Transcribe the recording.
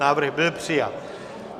Návrh byl přijat.